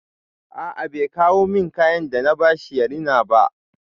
A a bai kawo min kayan da na ba shi ya rina ba.